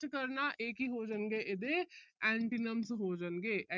ਕਰਨਾ। ਇਹ ਕੀ ਹੋ ਜਾਣਗੇ, ਇਹਦੇ antonyms ਹੋ ਜਾਣਗੇ।